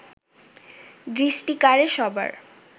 দৃষ্টি কাড়ে সবার